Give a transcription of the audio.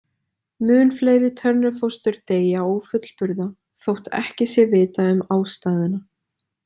Mun fleiri Turner-fóstur deyja ófullburða þótt ekki sé vitað um ástæðuna.